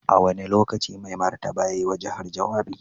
A wane lokaci Mai Martaba ya yi wa jihar jawabi?